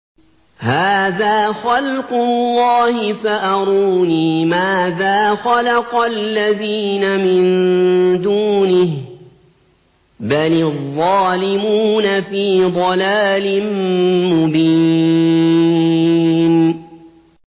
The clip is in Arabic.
هَٰذَا خَلْقُ اللَّهِ فَأَرُونِي مَاذَا خَلَقَ الَّذِينَ مِن دُونِهِ ۚ بَلِ الظَّالِمُونَ فِي ضَلَالٍ مُّبِينٍ